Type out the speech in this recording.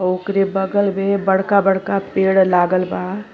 ओकरे बगल में बड़का बड़का पेड़ लागल बा।